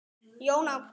Jón Ágúst.